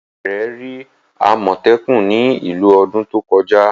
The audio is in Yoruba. Ìyá rẹ̀ rí àmọ̀tẹ́kùn ní ìlú ọdún tó kọjá.